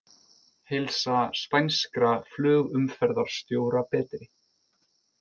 Heilsa spænskra flugumferðarstjóra betri